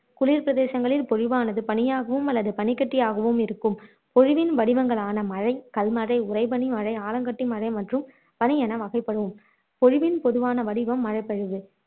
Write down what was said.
குளிர் பிரததேங்களில் பொழிவானது பனியாகவும் அல்லது பனிக்கட்டியாகவும் இருக்கும் பொழிவின் வடிவங்களான மழை, கல்மழை, உறைபனி மழை, ஆலங்கட்டி மழை மற்றும் பனி என வகைப்படும்